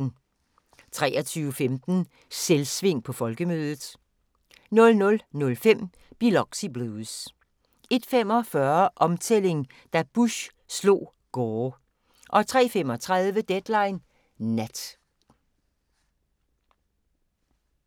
23:15: Selvsving på Folkemødet 00:05: Biloxi Blues 01:45: Omtælling – da Bush slog Gore 03:35: Deadline Nat